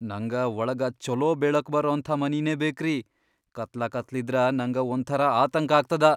ನಂಗ ವಳಗ ಛೊಲೋ ಬೆಳಕ್ ಬರಅಂಥಾ ಮನಿನೇ ಬೇಕ್ರಿ, ಕತ್ಲಕತ್ಲಿದ್ರ ನಂಗ ಒಂಥರಾ ಆತಂಕ್ ಆಗ್ತದ.